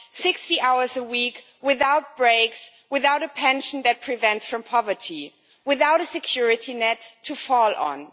60 hours a week without breaks, without a pension to prevent poverty, without a security net to fall back on.